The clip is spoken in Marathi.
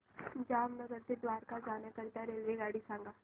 जामनगर ते द्वारका जाण्याकरीता रेल्वेगाडी सांग